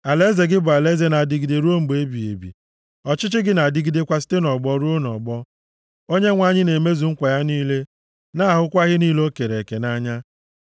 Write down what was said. Alaeze gị bụ alaeze na-adịgide ruo mgbe ebighị ebi, ọchịchị gị na-adịgidekwa site nʼọgbọ ruo nʼọgbọ. Onyenwe anyị na-emezu nkwa ya niile na-ahụkwa ihe niile o kere eke nʼanya.